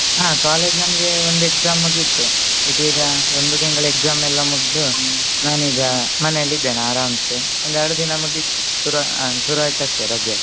ಹಾ college ನಮ್ಗೆ ಒಂದು exam ಮುಗಿತು ಇದು ಈಗ ಒಂದು ತಿಂಗಳ exam ಎಲ್ಲಾ ಮುಗ್ದು ನಾನೀಗ ಮನೇಲಿ ಇದ್ದೇನೆ ಆರಾಮಸೇ ಒಂದ್ ಎರಡು ದಿನಾ ಮುಗಿತು ಶುರು ಅಹ್ ಶುರುವಾಯ್ತ ಅಷ್ಟೇ ರಜೆ.